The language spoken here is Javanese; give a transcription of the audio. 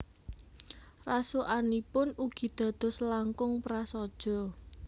Rasukanipun ugi dados langkung prasaja